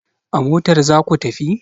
A motar za ku tafi!